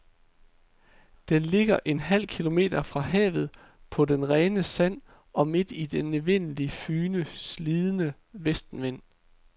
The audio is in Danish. Den ligger en halv kilometer fra havet, på det rene sand og midt i den evindeligt fygende, slidende vestenvind.